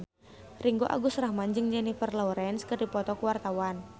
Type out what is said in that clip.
Ringgo Agus Rahman jeung Jennifer Lawrence keur dipoto ku wartawan